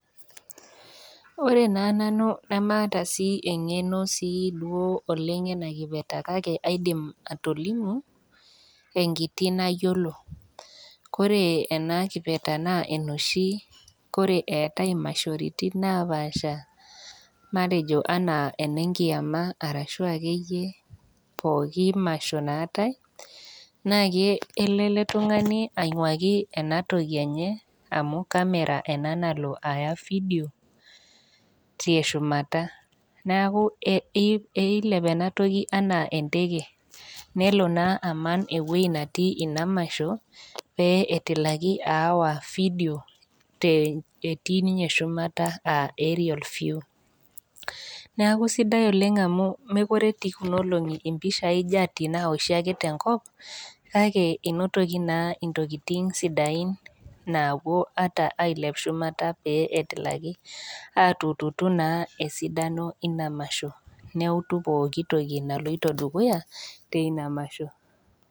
Ore naa nanu nemaata sii eng'eno sii duo oleng' ena kipeta kake aidim atolimu enkiti nayiolo. Ore ena kipeta naa enooshi Kore eatai imashoritin napaasha matejo anaa ene nkiyama arashu ake iyie pooki masho naatai, naa kelo ele tung'ani ainguaki ena toki enye amu kamera ena nalo Aya vidio, teshumata, neaku eilep ena toki anaa enteke, nelo naa aman ewueji natii Ina masho pee etilaki aawa vidio te etii ninye shumata aa Aerial view. Neaku sidai oleng' amu mekure etii kunaa olong'i oleng' impishai naaji eoshi ake tenkop, kake einotoki naa intokitin sidain naapuo ata ailep shumata peyie etilaki aatututu naa esidano naa eina masho, neutu pooki toki naloito dukuya teina masho.